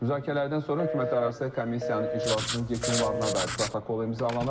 Müzakirələrdən sonra hökumətlərarası komissiyanın iclasının yekunlarına dair protokol imzalanıb.